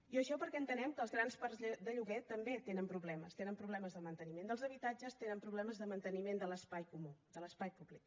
i això perquè entenem que els grans parcs de lloguer també tenen problemes tenen problemes de manteniment dels habitatges tenen problemes de manteniment de l’espai comú de l’espai públic